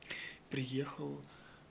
приехал